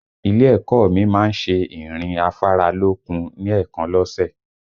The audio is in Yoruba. Ilé ẹ̀kọ́ ọ mi má ń ṣe ìrìn afáralókun ní èèkan lọ́sẹ̀